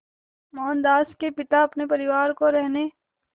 मोहनदास के पिता अपने परिवार को रहने